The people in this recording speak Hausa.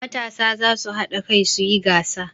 Matasa za su haɗa kai su yi gasa.